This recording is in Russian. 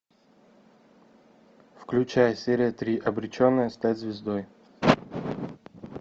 включай серия три обреченная стать звездой